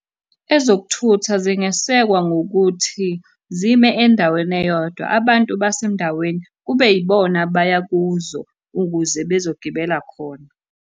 Ezokuthutha zingesekwa ngokuthi, zime endaweni eyodwa. Abantu basendaweni kube yibona abaya kuzo ukuze bezogibela khona.